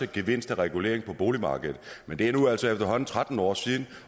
gevinst af reguleringen på boligmarkedet men det er nu altså efterhånden tretten år siden